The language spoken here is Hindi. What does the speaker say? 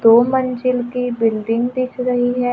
दो मंजिल की बिल्डिंग दिख रही है।